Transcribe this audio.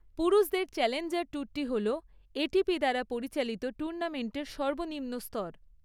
পুরুষদের চ্যালেঞ্জার ট্যুরটি হল এটিপি দ্বারা পরিচালিত টুর্নামেন্টের সর্বনিম্ন স্তর।